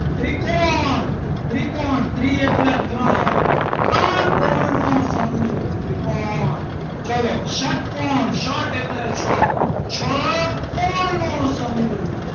ત્રિકોણ ત્રિકોણ ત્રી એટલે ત્રણ ત્રણ કોણ નો સમૂહ ત્રિકોણ ચલો ષટકોણ ષટ એટલે છ છ કોણ નો સમૂહ.